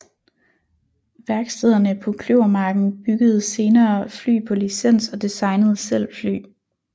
Værkstederne på Kløvermarken byggede senere fly på licens og designede selv fly